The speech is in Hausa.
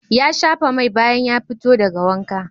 Ya shafa mai bayan ya fito daga wanka.